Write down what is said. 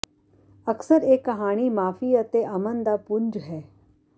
ਅਕਸਰ ਇਹ ਕਹਾਣੀ ਮਾਫ਼ੀ ਅਤੇ ਅਮਨ ਦਾ ਪੁੰਜ ਹੈ